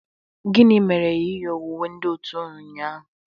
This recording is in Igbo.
Gini mere i nyighi uwe ndị otu unu ụnyaahụ?